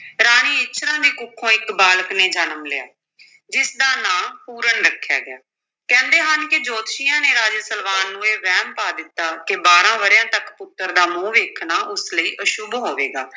ਰਾਣੀ ਇੱਛਰਾਂ ਦੀ ਕੁੱਖੋਂ ਇੱਕ ਬਾਲਕ ਨੇ ਜਨਮ ਲਿਆ ਜਿਸਦਾ ਦਾ ਨਾਂ ਪੂਰਨ ਰੱਖਿਆ ਗਿਆ, ਕਹਿੰਦੇ ਹਨ ਕਿ ਜੋਤਸ਼ੀਆਂ ਨੇ ਰਾਜਾ ਸਲਵਾਨ ਨੂੰ ਇਹ ਵਹਿਮ ਪਾ ਦਿੱਤਾ ਕਿ ਬਾਰਾਂ ਵਰ੍ਹਿਆਂ ਤੱਕ ਪੁੱਤਰ ਦਾ ਮੂੰਹ ਵੇਖਣਾ ਉਸ ਲਈ ਅਸ਼ੁੱਭ ਹੋਵੇਗਾ।